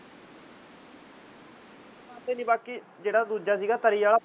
ਬਾਕੀ ਜਿਹੜਾ ਦੂਜਾ ਸੀ ਗਾ ਤਰੀ ਵਾਲਾ